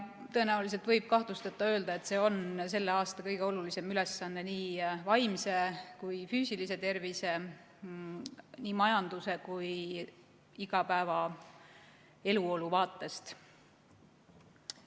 Tõenäoliselt võib kahtlusteta öelda, et see on selle aasta kõige olulisem ülesanne nii vaimse kui ka füüsilise tervise, nii majanduse kui ka igapäeva eluolu vaates.